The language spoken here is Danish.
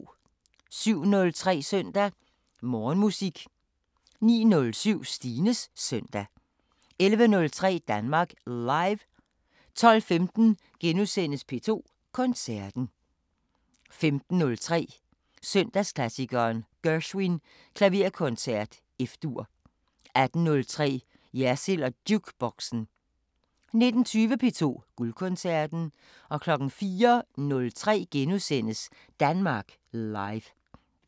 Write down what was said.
07:03: Søndag Morgenmusik 09:07: Stines Søndag 11:03: Danmark Live 12:15: P2 Koncerten * 15:03: Søndagsklassikeren – Gershwin: Klaverkoncert F-dur 18:03: Jersild & Jukeboxen 19:20: P2 Guldkoncerten 04:03: Danmark Live *